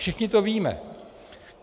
Všichni to víme.